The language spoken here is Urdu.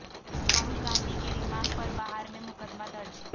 راہول گاندھی کے ریمارک پر بہار میں مقدمہ درج